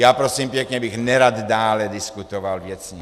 Já, prosím pěkně, bych nerad dále diskutoval věcně.